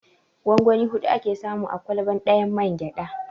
Gongoni huɗu ake samu a ƙwalba ɗayan mangyaɗa.